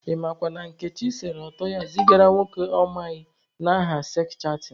Ị makwa na Nkechi sere ọtọ ya zigara nwoke ọ na amaghị n'aha seks chatịn.